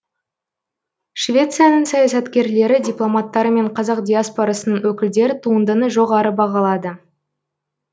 швецияның саясаткерлері дипломаттары мен қазақ диаспорасының өкілдері туындыны жоғары бағалады